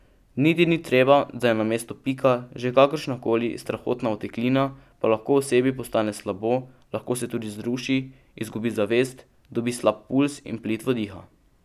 Niti ni treba, da je na mestu pika že kakršna koli strahotna oteklina, pa lahko osebi postane slabo, lahko se tudi zruši, izgubi zavest, dobi slab pulz in plitvo diha.